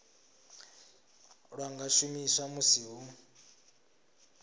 lwa nga shumiswa musi hu